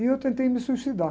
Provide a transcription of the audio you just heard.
E eu tentei me suicidar.